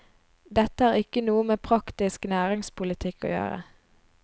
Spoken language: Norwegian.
Dette har ikke noe med praktisk næringspolitikk å gjøre.